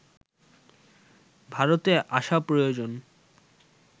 ভারতে আসা প্রয়োজন